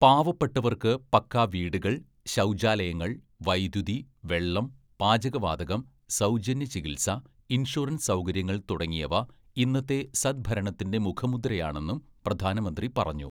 "പാവപ്പെട്ടവര്‍ക്ക് പക്കാ വീടുകള്‍, ശൗച്യാലയങ്ങള്‍, വൈദ്യുതി, വെള്ളം, പാചകവാതകം, സൗജന്യ ചികിത്സ, ഇന്‍ഷുറന്‍സ് സൗകര്യങ്ങള്‍ തുടങ്ങിയവ ഇന്നത്തെ സദ്ഭരണത്തിന്റെ മുഖമുദ്രയാണെന്നും പ്രധാനമന്ത്രി പറഞ്ഞു. "